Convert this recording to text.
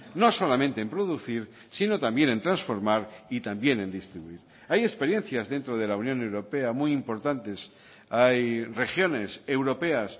no solamente en producir sino también en transformar y también en distribuir hay experiencias dentro de la unión europea muy importantes hay regiones europeas